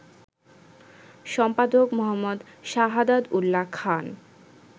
সম্পাদক: মো. সাহাদাত উল্যা খান